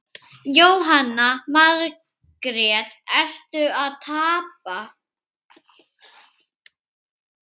Jóhanna Margrét: Ertu að tapa?